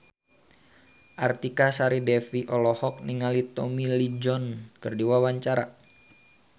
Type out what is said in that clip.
Artika Sari Devi olohok ningali Tommy Lee Jones keur diwawancara